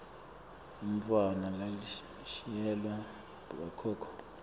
umntfwana lalushiyelwa bokhokho